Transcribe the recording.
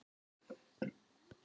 Mig langaði bara.